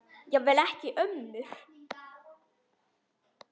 Jafnvel ekki ömmur.